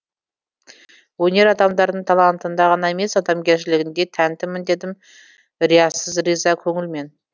өнер адамдарының талантына ғана емес адамгершілігіне де тәнтімін дедім риясыз риза көңілмен